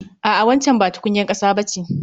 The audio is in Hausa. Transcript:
A'a waccan ba tukunyar ƙasa ba ce